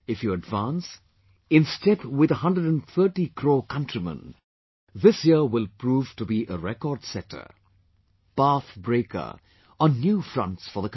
If you advance, in step with 130 crore countrymen, this year will prove to be a record setter, path breaker on new fronts for the country